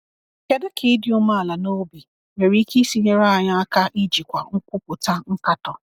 Kedu ka ịdị umeala n’obi nwere ike isi nyere anyị aka ijikwa nkwupụta nkatọ?